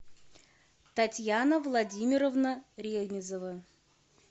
татьяна владимировна ренизова